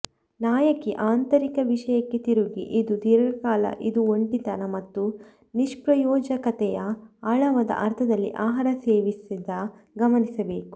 ನಾಯಕಿ ಆಂತರಿಕ ವಿಷಯಕ್ಕೆ ತಿರುಗಿ ಇದು ದೀರ್ಘಕಾಲ ಇದು ಒಂಟಿತನ ಮತ್ತು ನಿಷ್ಪ್ರಯೋಜಕತೆಯ ಆಳವಾದ ಅರ್ಥದಲ್ಲಿ ಆಹಾರ ಸೇವಿಸಿದ ಗಮನಿಸಬೇಕು